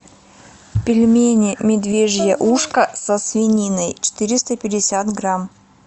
пельмени медвежье ушко со свининой четыреста пятьдесят грамм